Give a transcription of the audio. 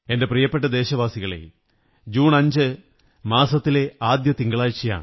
എന്റെ പ്രിയപ്പെട്ട ദേശവാസികളേ ജൂൺ 5 മാസത്തിലെ ആദ്യത്തെ തിങ്കളാഴ്ചയാണ്